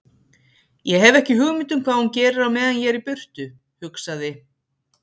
Ég hef ekki hugmynd um hvað hún gerir á meðan ég er í burtu, hugsaði